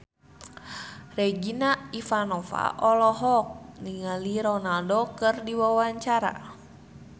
Regina Ivanova olohok ningali Ronaldo keur diwawancara